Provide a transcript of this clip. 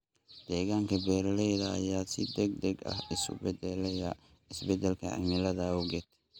Deegaanka beeralayda ayaa si degdeg ah isu beddelaya isbeddelka cimilada awgeed.